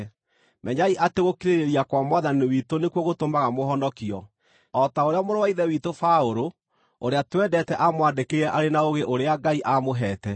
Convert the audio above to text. Menyai atĩ gũkirĩrĩria kwa Mwathani witũ nĩkuo gũtũmaga mũhonokio, o ta ũrĩa mũrũ wa Ithe witũ Paũlũ, ũrĩa twendete aamwandĩkĩire arĩ na ũũgĩ ũrĩa Ngai aamũhete.